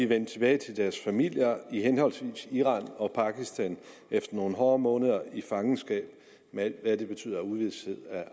vendt tilbage til deres familier i henholdsvis iran og pakistan efter nogle hårde måneder i fangenskab med alt hvad det betyder af uvished